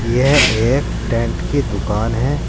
यह एक टेंट की दुकान है।